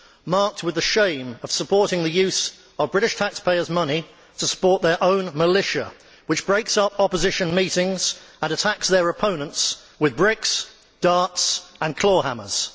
marked with the shame of supporting the use of British taxpayers' money to support their own militia, which breaks up opposition meetings and attacks their opponents with bricks, darts and claw hammers.